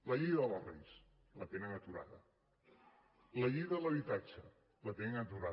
la llei de barris la tenen aturada la llei de l’habitatge la tenen aturada